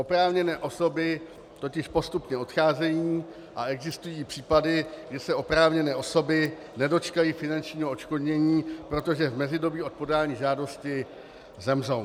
Oprávněné osoby totiž postupně odcházejí a existují případy, kdy se oprávněné osoby nedočkají finančního odškodnění, protože v mezidobí od podání žádosti zemřou.